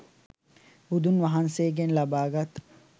බුදුන් වහන්සේගෙන් ලබාගත්